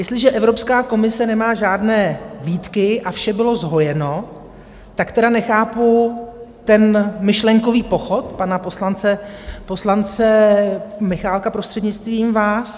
Jestliže Evropská komise nemá žádné výtky a vše bylo zhojeno, tak tedy nechápu ten myšlenkový pochod pana poslance Michálka, prostřednictvím vás.